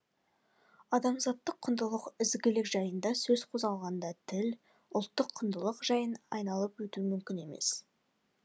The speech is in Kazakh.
адамзаттық құндылық ізгілік жайында сөз қозғалғанда тіл ұлттық құндылық жайын айналып өту мүмкін емес